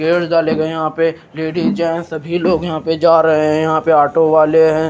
पेड़ लगे हुए यहां पर लेडिस जेंट्स सभी लोग यहां पर जा रहे हैं यहां पर ऑटो वाले हैं।